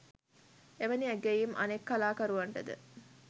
එවැනි ඇගයීම් අනෙක් කලාකරුවන්ටද